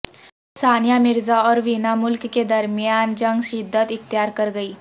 ثانیہ مرزا اور وینا ملک کے درمیان جنگ شدت اختیار کرگئی